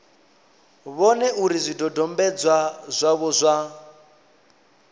vhone uri zwidodombedzwa zwavho zwa